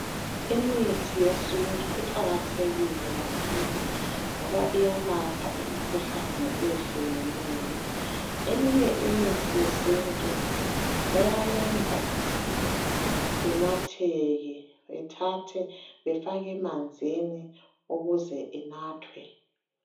Imithi yesintu iqakathekile kakhulu ngoba iyalapha imikhuhlane eyehlukeneyo eminye imithi yesintu iyayenza inatheke bethathe befake emanzini ukuze inathwe.